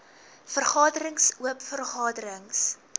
vergaderings oop vergaderings